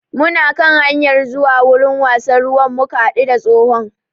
Muna kan hanyar zuwa wurin wasan ruwan muka haɗu da tsohon